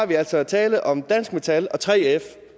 der altså tale om dansk metal og 3f